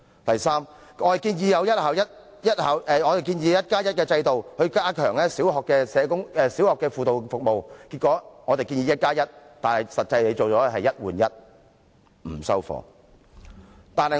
第三，我們建議設立"一加一"的制度，加強小學的輔導服務；結果，我們建議的是"一加一"，但政府提出的實際上只是"一換一"，我們並不接受。